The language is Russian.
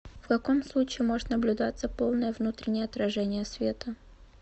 в каком случае может наблюдаться полное внутреннее отражение света